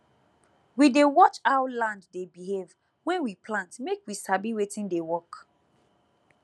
we dey watch how land dey behave when we plant make we sabi wetin dey work